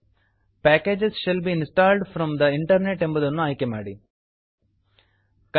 packages shall be installed from the internet packages shall be installed from the internet ಎಂಬುದನ್ನು ಆಯ್ಕೆ ಮಾಡಿ